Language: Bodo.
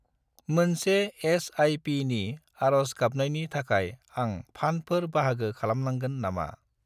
मोनसे एस.आइ.पि. नि आरज गाबनायनि थाखाय आं फान्डफोर बाहागो खालामनांगोन नामा?